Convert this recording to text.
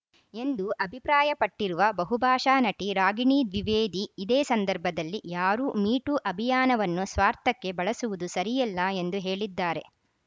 ಎಂದು ಅಭಿಪ್ರಾಯಪಟ್ಟಿರುವ ಬಹುಭಾಷಾ ನಟಿ ರಾಗಿಣಿ ದ್ವಿವೇದಿ ಇದೇ ಸಂದರ್ಭದಲ್ಲಿ ಯಾರೂ ಮಿಟೂ ಅಭಿಯಾನವನ್ನು ಸ್ವಾರ್ಥಕ್ಕೆ ಬಳಸುವುದು ಸರಿಯಲ್ಲ ಎಂದು ಹೇಳಿದ್ದಾರೆ